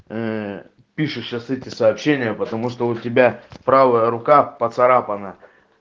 пишешь сейчас эти сообщения потому что у тебя правая рука поцарапана